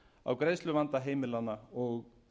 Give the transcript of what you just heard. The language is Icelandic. á greiðsluvanda heimilanna og